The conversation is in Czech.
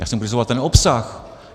Já jsem kritizoval ten obsah.